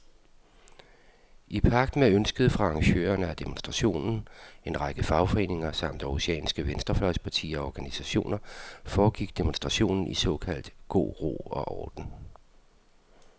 I pagt med ønsket fra arrangørerne af demonstrationen, en række fagforeninger samt århusianske venstrefløjspartier og organisationer, foregik demonstrationen i såkaldt god ro og orden.